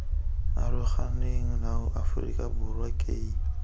aroganeng nao aforika borwa key